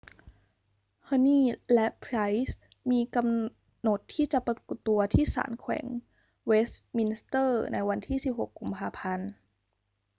huhne และ pryce มีกำหนดที่จะปรากฏตัวที่ศาลแขวงเวสต์มินสเตอร์ในวันที่ 16 กุมภาพันธ์